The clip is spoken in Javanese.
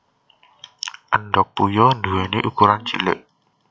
Endhog puyuh nduwèni ukuran cilik